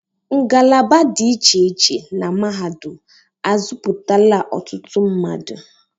Ngalaba dị iche iche na mahadum azuputala ọtụtụ mmadụ.